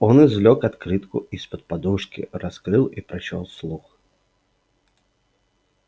он извлёк открытку из-под подушки раскрыл и прочёл вслух